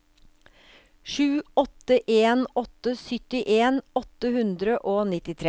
sju åtte en åtte syttien åtte hundre og nittitre